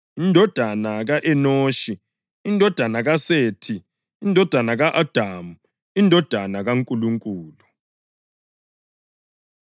indodana ka-Enoshi, indodana kaSethi, indodana ka-Adamu, indodana kaNkulunkulu.